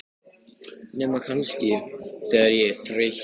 Nema kannski, þegar ég er þreyttur.